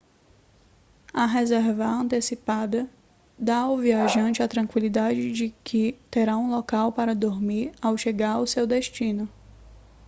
a reservar antecipada dá ao viajante a tranquilidade de que terá um local para dormir ao chegar ao seu destino